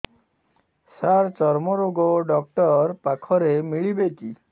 ସାର ଚର୍ମରୋଗ ଡକ୍ଟର ପାଖରେ ମିଳିବେ କି